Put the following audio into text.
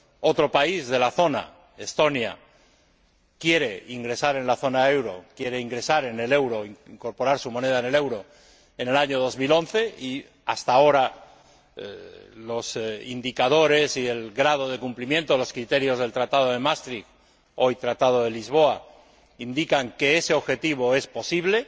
Otro país de la zona, Estonia, quiere ingresar en la zona del euro, quiere ingresar en el euro, incorporar su moneda al euro en el año 2011 y, hasta ahora, los indicadores y el grado de cumplimiento de los criterios del Tratado de Maastricht, hoy Tratado de Lisboa, indican que ese objetivo es posible.